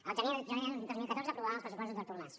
el gener de dos mil catorze aprovaven els pressupostos d’artur mas